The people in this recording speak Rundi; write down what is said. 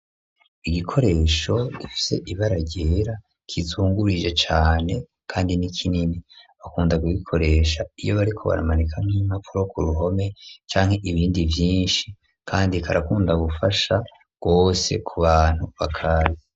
Igikoresho gifise ibara ryera kizungurije cane kandi ni kinini. Bakunda kubikoresha iyo bariko baramanika nk'impapuro ku ruhome canke ibindi vyinshi, kandi karakunda gufasha gose ku bantu bakazi.